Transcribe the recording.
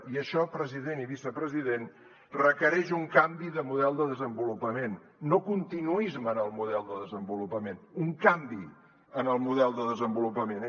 i això president i vicepresident requereix un canvi de model de desenvolupament no continuisme en el model de desenvolupament un canvi en el model de desenvolupament